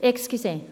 Entschuldigung.